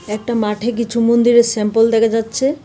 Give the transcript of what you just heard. একটা মাঠে কিছু মন্দিরের স্যাম্পল দেখা যাচ্ছে।